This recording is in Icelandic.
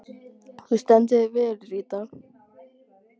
Þú stendur þig vel, Ríta!